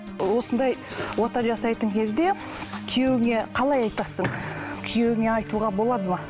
осындай ота жасайтын кезде күйеуіңе қалай айтасың күйеуіңе айтуға болады ма